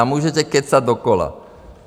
A můžete kecat dokola.